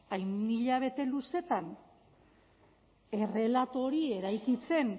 hain hilabete luzeetan errelato hori eraikitzen